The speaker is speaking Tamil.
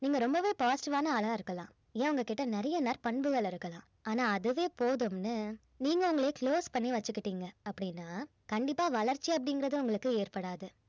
நீங்க ரொம்பவே positive ஆன ஆளா இருக்கலாம் ஏன் உங்ககிட்ட நிறைய நற்பண்புகள் இருக்கலாம் ஆனா அதுவே போதும்னு நீங்க உங்களையே close பண்ணி வெச்சிகிட்டீங்க அப்படின்னா கண்டிப்பா வளர்ச்சி அப்படிங்கறது உங்களுக்கு ஏற்படாது